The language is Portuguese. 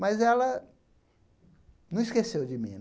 Mas ela não esqueceu de mim.